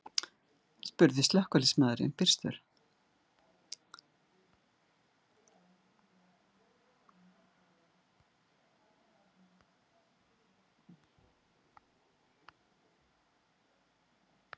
Hænuegg eru einnig algengur ofnæmisvaldur, einkum hjá börnum.